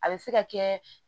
A bɛ se ka kɛ